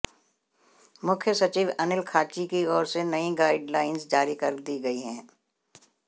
मुख्य सचिव अनिल खाची की ओर से नई गाइडलाइन जारी कर दी गई है